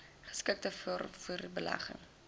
geskikte vaartuie belegging